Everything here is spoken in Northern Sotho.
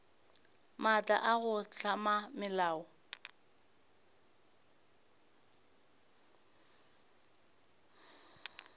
maatla a go hlama melao